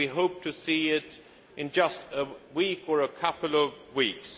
We hope to see it in just a week or a couple of weeks.